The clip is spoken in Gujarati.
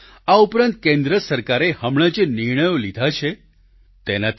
આ ઉપરાંત કેન્દ્ર સરકારે હમણાં જે નિર્ણયો લીધા છે તેનાથી પણ